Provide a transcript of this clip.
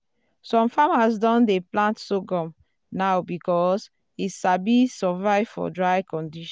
some farmers don dey plant sorghum now because e sabi survive for dry condition.